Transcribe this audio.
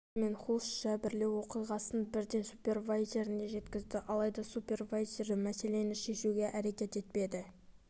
джексон мен хулс жәбірлеу оқиғасын бірден супервайзеріне жеткізді алайда супервайзері мәселені шешуге әрекет етпеді